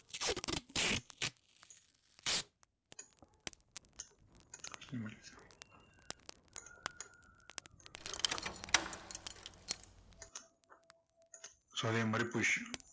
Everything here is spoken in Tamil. so அதே மாதிரி position